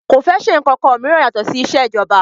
Kò fẹ́ ṣe ǹkankan mìíràn yàtọ̀ sí isẹ́ ìjọba